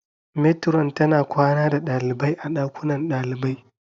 Metiron tana kwana da ɗaliabai a ɗakunan ɗalibai